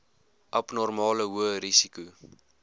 abnormale hoë risiko